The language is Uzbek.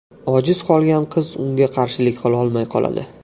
Ojiz qolgan qiz unga qarshilik qilolmay qoladi.